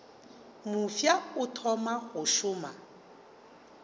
mofsa o thoma go šoma